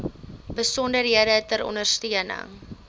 besonderhede ter ondersteuning